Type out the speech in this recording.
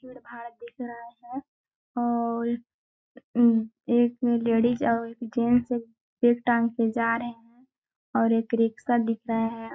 और एक लेडीज और एक जें से बेग टांग के जा रहे हैं और एक रिक्शा दिख रहा है।